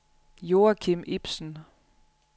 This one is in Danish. Joachim Ibsen